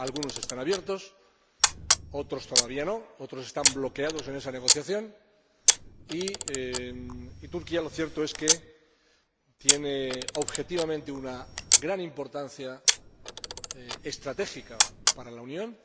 Algunos están abiertos, otros todavía no, otros están bloqueados en esa negociación y Turquía lo cierto es que posee objetivamente una gran importancia estratégica para la Unión.